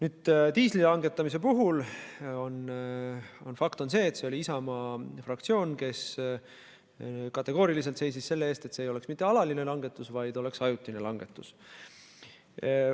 Aga diisliaktsiisi langetamise puhul on fakt, et see oli Isamaa fraktsioon, kes kategooriliselt seisis selle eest, et see ei oleks mitte alaline langetus, vaid ajutine langetus.